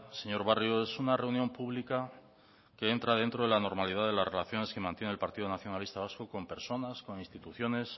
señor barrio es una reunión pública que entra dentro de la normalidad de las relaciones que mantiene el partido nacionalista vasco con personas con instituciones